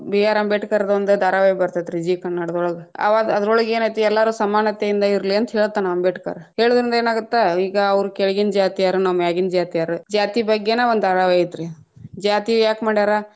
B R Ambedkar ದೊಂದು ಧಾರಾವಾಹಿ ಬತೇ೯ತ್ರೀ ಝೀ ಕನ್ನಡದೊಳಗ್‌, ಆ ಅವಾಗ್ ಅದ್ರೋಳಗ್‌ ಏನೈತಿ ಎಲ್ಲಾರು ಸಮಾನತೆಯಿಂದ ಇಲಿ೯ ಅಂತಾ ಹೇಳ್ತಾನ ಅಂಬೇಡ್ಕರ, ಹೇಳದ್ರಿಂದ ಏನಾಗತ್ತ ಈಗ ಅವ್ರ ಕೆಳಗಿನ್‌ ಜಾತಿಯಾರ ನಾವ್‌ ಮ್ಯಾಗಿನ ಜಾತಿಯಾರ ಜಾತಿ ಬಗ್ಗೆನ ವಂದ್ ಧಾರಾವಾಹಿ ಐತ್ರೀ, ಜಾತಿ ಯಾಕ ಮಾಡ್ಯಾರ.